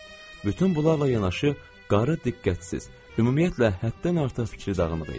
Bütün bunlarla yanaşı, qarı diqqətsiz, ümumiyyətlə həddən artıq fikri dağınıq idi.